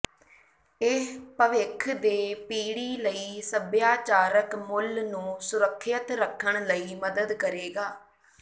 ਇਹ ਭਵਿੱਖ ਦੇ ਪੀੜ੍ਹੀ ਲਈ ਸਭਿਆਚਾਰਕ ਮੁੱਲ ਨੂੰ ਸੁਰੱਖਿਅਤ ਰੱਖਣ ਲਈ ਮਦਦ ਕਰੇਗਾ